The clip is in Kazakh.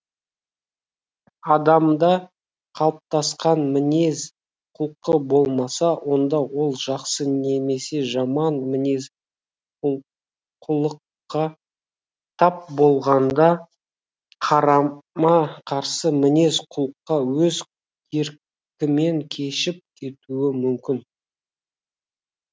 адамда қалыптасқан мінез құлқы болмаса онда ол жақсы немесе жаман мінез құлыққа тап болғанда қарама қарсы мінез құлыққа өз еркімен кешіп кетуі мүмкін